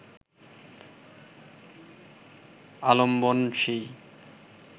আলম্বন সেই